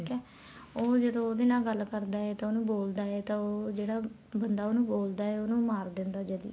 ਠੀਕ ਏ ਉਹ ਜਦੋਂ ਉਹਦੇ ਨਾਲ ਗੱਲ ਕਰਦਾ ਏ ਤੇ ਉਹਨੂੰ ਬੋਲਦਾ ਏ ਤਾਂ ਉਹ ਜਿਹੜਾ ਬੰਦਾ ਉਹਨੂੰ ਬੋਲਦਾ ਏ ਉਹਨੂੰ ਮਾਰ ਦਿੰਦਾ ਏ ਜਦੀ